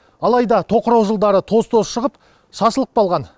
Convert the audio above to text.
алайда тоқырау жылдары тоз тозы шығып шашылып қалған